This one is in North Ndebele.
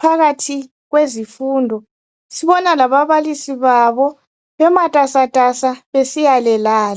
phakathi kwezifundo. Sibona lababalisi babo bematasatasa besiya le lale.